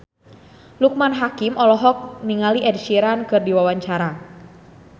Loekman Hakim olohok ningali Ed Sheeran keur diwawancara